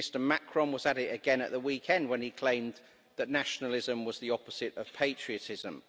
Mr Macron was at it again at the weekend when he claimed that nationalism was the opposite of patriotism.